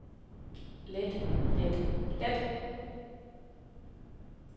let let let